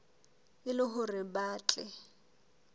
e le hore ba tle